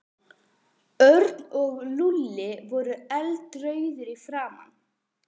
Örn og Lúlli voru eldrauðir í framan.